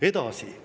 Edasi.